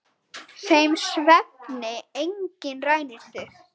Þeim svefni enginn rænir þig.